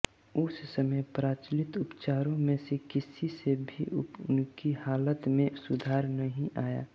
उस समय प्रचलित उपचारों में से किसी से भी उनकी हालत में सुधार नहीं आया